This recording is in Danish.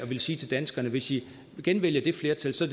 vil sige til danskerne hvis i genvælger det flertal så